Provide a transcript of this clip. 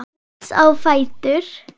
Rís á fætur.